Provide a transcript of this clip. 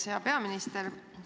Hea peaminister!